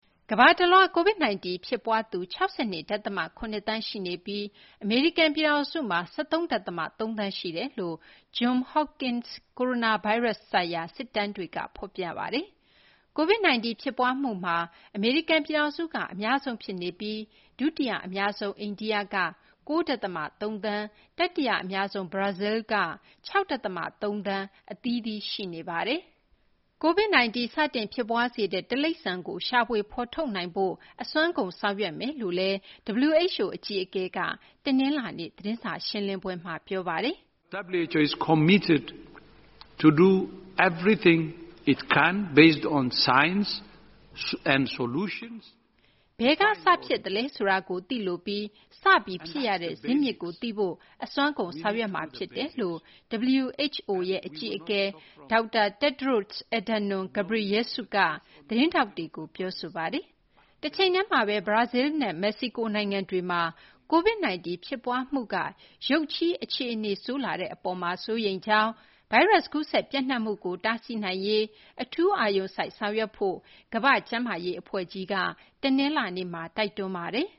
ကမ္ဘာတလွှား COVID-19 ဖြစ်ပွားသူ ၆၂ ဒသမ ၇ သန်းရှိပြီး အမေရိကန် ပြည်ထောင်စုမှာ ၁၃ ဒသမ ၃ သန်း ရှိနေတယ်လို့ Johns Hopkins ကိုရိုနာဗိုင်းရပ်စ် ဆိုင်ရာ စာရင်းတွေက ဖော်ပြပါတယ်။ COVID-19 ဖြစ်ပွားမှုမှာ အမေရိကန် ပြည်ထောင်စုက အများဆုံး ဖြစ်နေပြီး ဒုတိယ အများဆုံး အိန္ဒိက ၉ ဒသမ ၃ သန်း၊ တတိယ အများဆုံး ဘရာဇီလ်းက ၆ ဒသမ ၃ သန်း အသီးသီး ရှိနေပါတယ်။ COVID 19 စတင် ဖြစ်ပွားစေတဲ့ တိရိစ္ဆာန်ကို ရှာဖွေ ဖော်ထုတ်နိုင်ဖို့ အစွမ်းကုန် ဆောင်ရွက်သွားမယ်လို့ WHO အကြီးအကဲက တနလာၤနေ့ သတင်းစာရှင်းလင်းပွဲမှာ ပြောပါတယ်။ "ဘယ်က စဖြစ်သလဲဆိုတာကို သိလိုပြီး စဖြစ်ရတဲ့ ဇစ်မြစ်ကို သိရဖို့ အစွမ်းကုန် ဆောင်ရွက်မှာ ဖြစ်တယ်"လို့ WHO အကြီးအကဲ Tedros Adhanom Ghebreyesus က သတင်းထောက်တွေကို ပြောဆိုသွားပါတယ်။ တချိန်တည်းမှာဘဲ ဘရာဇီလ်းနဲ့ မက္ကဆီကို နိုင်ငံတွေမှာ COVID-19 ဖြစ်ပွားမှုက ရုတ်ချည်း အခြေအနေဆိုးလာတဲ့ အပေါ် စိုးရိမ်ကြောင်း၊ ဗိုင်းရပ်စ် ကူးစက် ပျံ့နှံ့မှုကို တားဆီးနိုင်ရေး အထူး အာရုံစိုက် ဆောင်ရွက်ဖို့ ကမ္ဘာ့ကျန်းမာရေး အဖွဲ့ကြီး WHO က တနလာၤနေ့မှာ တိုက်တွန်းထားပါတယ်။